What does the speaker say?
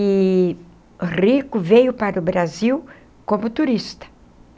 Eee rico, veio para o Brasil como turista.